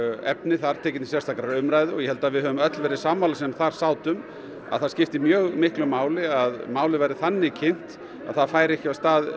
efni þar tekin til sérstakrar umræðu og ég held að við höfum öll verið sammála sem þar sátum að það skiptir mjög miklu máli að málið verði þannig kynnt að það fari ekki af stað